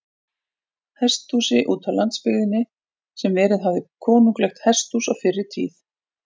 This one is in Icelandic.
Hesthúsi útá landsbyggðinni, sem verið hafði konunglegt hesthús á fyrri tíð.